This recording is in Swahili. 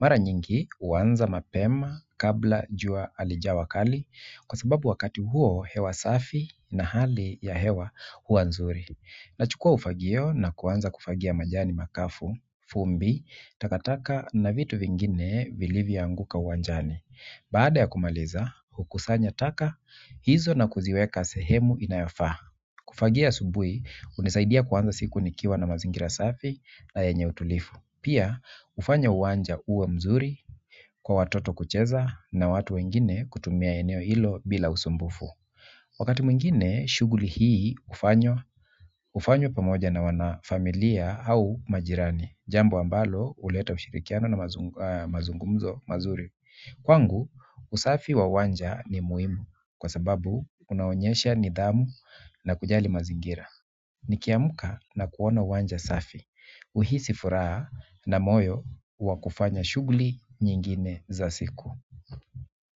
Mara nyingi huanza mapema kabla jua halijawa kali kwa sababu wakati huo hewa safi na hali ya hewa huwa nzuri. Nachukua ufagio na kuanza kufagia majani makavu, vumbi, takataka na vitu vingine vilivyoanguka uwanjani. Baada ya kumaliza, hukusanya taka, hizo na kuziweka sehemu inayofaa. Kufagia asubuhi, hunisaidia kuanza siku nikiwa na mazingira safi na yenye utulivu pia, hufanya uwanja uwe mzuri kwa watoto kucheza na watu wengine kutumia eneo hilo bila usumbufu wakati mwingine, shughuli hii hufanywa pamoja na wanafamilia au majirani jambo ambalo, huleta ushirikiano na mazungumzo mazuri kwangu, usafi wa uwanja ni muhimu kwa sababu unaonyesha nidhamu na kujali mazingira. Nikiamka na kuona uwanja safi, huhisi furaha na moyo wa kufanya shughuli nyingine za siku.